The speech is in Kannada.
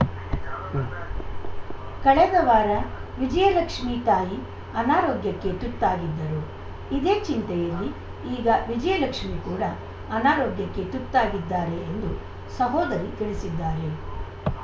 ಉಂ ಕಳೆದ ವಾರ ವಿಜಯಲಕ್ಷ್ಮೀ ತಾಯಿ ಅನಾರೋಗ್ಯಕ್ಕೆ ತುತ್ತಾಗಿದ್ದರು ಇದೇ ಚಿಂತೆಯಲ್ಲಿ ಈಗ ವಿಜಯಲಕ್ಷ್ಮೀ ಕೂಡ ಅನಾರೋಗ್ಯಕ್ಕೆ ತುತ್ತಾಗಿದ್ದಾರೆ ಎಂದು ಸಹೋದರಿ ತಿಳಿಸಿದ್ದಾರೆ